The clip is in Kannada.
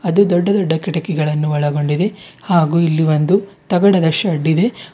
ಇದು ದೊಡ್ಡ ದೊಡ್ಡ ಕಿಟಕಿಗಳನ್ನು ಒಳಗೊಂಡಿದೆ ಹಾಗೂ ಇಲ್ಲಿ ಒಂದು ತಗಡದ ಶೇಡ್ ಇದೆ.